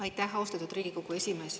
Aitäh, austatud Riigikogu esimees!